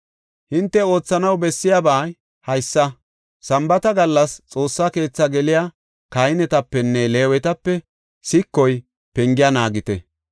Hinte oothanaw bessiyabay haysa; sambaata gallas Xoossa keethi geliya kahinetapenne Leewetape sikoy pengiya naagite.